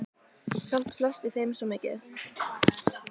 Samt felst í þeim svo mikið.